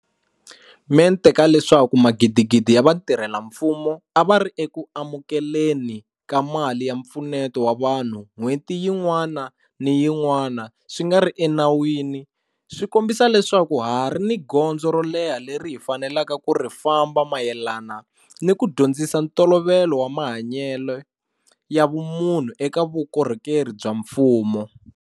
Mente ka leswaku magidigidi ya vatirhela mfumo a va ri eku amukeleni ka mali ya mpfuneto wa vanhu n'hweti yin'wana ni yin'wana swi nga ri enawini swi kombisa leswaku ha ha ri ni gondzo ro leha leri hi faneleke ku ri famba mayelana ni ku dyondzisa ntolovelo wa mahanyelo ya vumunhu eka vukorhokeri bya mfumo.